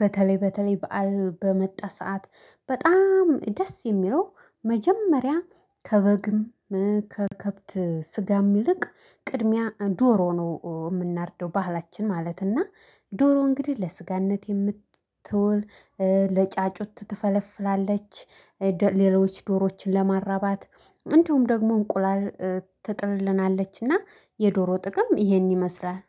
በተለይ በተለይ በዓል በመጣ ሰዓት በጣም ደስ የሚለው መጀመሪያ ከበግም ከከብት ስጋም ይልቅ ቅድሚያ ዶሮ ነው የምናርደው፤ በባህላችን ማለት ነው፤ እና ዶሮ እንግዲህ ለሥጋነት የምትውል፣ ጫጩት ትፈለፍላለች። ሌሎች ዶሮዎችን ለማራባት፣ እንዲሁም ደግሞ እንቁላል ትጥልልናለች፤ እና የዶሮ ጥቅም ይህን ይመስላል።